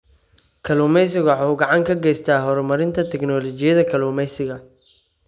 Kalluumaysigu waxa uu gacan ka geystaa horumarinta tignoolajiyada kalluumaysiga.